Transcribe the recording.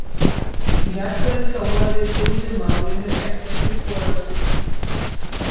Jafnvel þó að við fyndum málinu ekkert til foráttu.